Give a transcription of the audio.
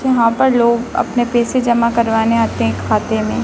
यहां पर लोग अपने पैसे जमा करवाने आते हैं खाते में।